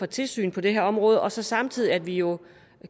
tilsynet på det her område og så samtidig at vi jo